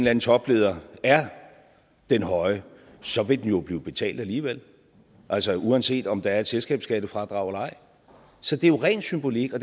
anden topleder er den høje så vil den jo blive betalt alligevel altså uanset om der er et selskabsskattefradrag eller ej så det er jo ren symbolik og